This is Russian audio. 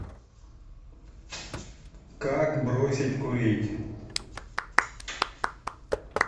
как бросить курить